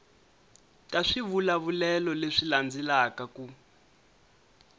ta swivulavulelo leswi landzelaka ku